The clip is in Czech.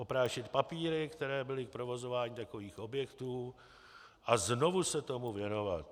Oprášit papíry, které byly k provozování takových objektů, a znovu se tomu věnovat.